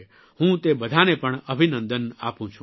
હું તે બધાને પણ અભિનંદન આપું છું